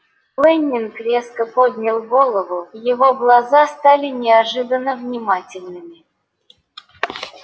лэннинг резко поднял голову его глаза стали неожиданно внимательными